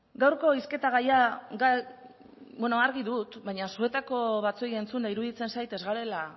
gaurko hizketa gaia bueno argi dut baina zuetako batzuei entzunda iruditzen zait ez garela